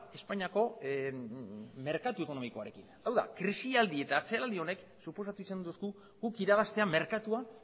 espainiako merkatu ekonomikoarekin hau da krisialdi eta atzeraldi honek suposatu izan digu guk irabaztea merkatua